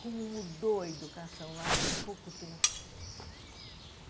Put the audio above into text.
Como mudou a educação lá em pouco tempo.